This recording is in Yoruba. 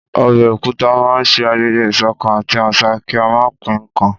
Ọbẹ̀ òkúta máa ń ṣe ayẹyẹ ìṣọ̀kan àti àṣà kí a máa pín nkan